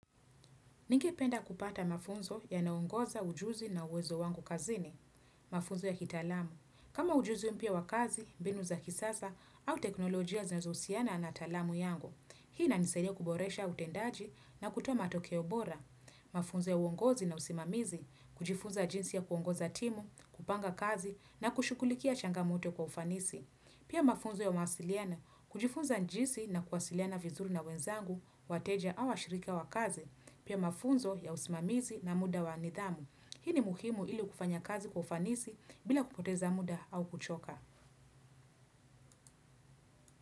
Ningependa kupata mafunzo yanaongoza ujuzi na uwezo wangu kazini. Mafunzo ya kitaalamu. Kama ujuzi mpya wa kazi, mbinu za kisasa, au teknolojia zenazohusiana na taalamu yangu. Hii inanisadia kuboresha utendaji na kutoa matokeo bora. Mafunzo ya uongozi na usimamizi, kujifunza jinsi ya kuongoza timu, kupanga kazi, na kushughulikia changamoto kwa ufanisi. Pia mafunzo ya mawasiliano, kujifunza jinsi na kuwasiliana vizuri na wenzangu, wateja au washirika wa kazi. Pia mafunzo ya usimamizi na muda wa nidhamu. Hii ni muhimu ili kufanya kazi kwa ufanisi bila kupoteza muda au kuchoka.